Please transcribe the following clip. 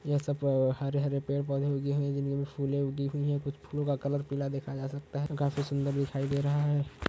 यह सब हरे-हरे पेड़ पौधे उगे हुए हैं जिनमे फूले उगी हुई हैं कुछ फूलों का कलर पीला देखा जा सकता है काफी सुंदर दिखाई दे रहा है।